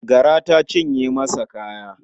Gara ta cinye masa kaya.